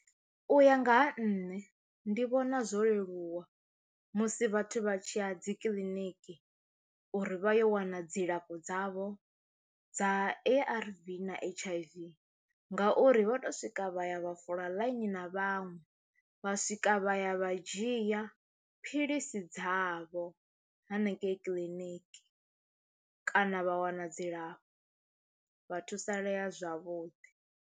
U ya nga ha nṋe ndi vhona zwo leluwa musi vhathu vha tshiya dzi kiḽiniki uri vha yo wana dzilafho dzavho dza A_R_V na H_I_V ngauri vha to swika vha ya vha fola ḽaini na vhaṅwe vha swika vha ya vha dzhia phiḽisi dzavho hanengei clinic kana vha wana dzilafho vha thusalea zwavhuḓi.